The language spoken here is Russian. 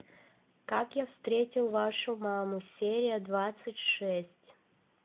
как я встретил вашу маму серия двадцать шесть